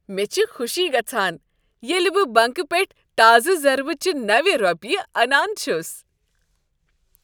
مےٚ چھ خوشی گژھان ییٚلہ بہٕ بنٛکہٕ پیٹھٕ تازٕ ضربہ چہ نوِ رۄپیہ انان چھس۔